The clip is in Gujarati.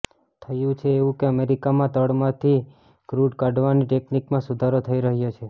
થયું છે એવું કે અમેરિકામાં તળમાંથી ક્રૂડ કાઢવાની ટેક્નિકમાં સુધારો થઈ રહ્યો છે